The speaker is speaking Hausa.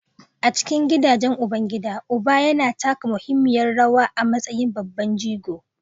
A cikin gidajen ubangida, uba yana taka muhimmiyar rawa a matsayin babban jigo